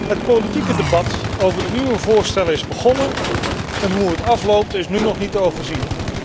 Het politieke debat over de nieuwe voorstellen is begonnen en hoe het afloopt is nu nog niet te overzien.